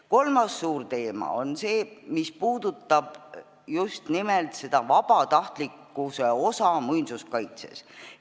Kolmas suur teema puudutab just nimelt vabatahtlikkuse osa muinsuskaitses.